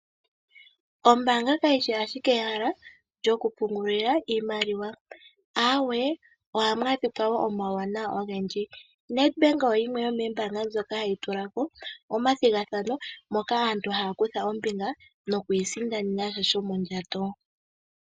Ombaanga kayi shi ashike ehala lyokupungula iimaliwa. Aawe, ohamu adhika wo omauwanawa ogendji. Nedbank oyo yimwe yomoombaanga ndhoka hadhi tula ko omathigathano moka aantu haya kutha ombinga noku isindanena sha shomondjato.